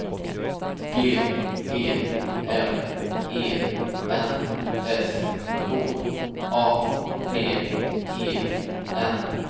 G E M E N S K A P E N